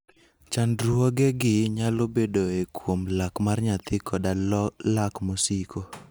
Chandruogegi nyalo bedoe kuom lak mar nyathi koda lak mosiko.